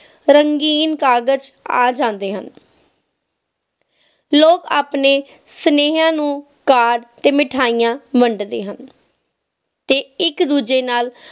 ਰੰਗੀਨ ਕਾਗਜ਼ ਆ ਜਾਂਦੇ ਹਨ ਲੋਕ ਆਪਣੇ ਸੁਨੇਹਿਆਂ ਨੂੰ card ਤੇ ਮਿਠਾਈਆਂ ਵੰਡ ਦੇ ਹਨ ਤੇ ਇੱਕ ਦੂਜੇ ਨਾਲ